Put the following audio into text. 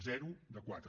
zero de quatre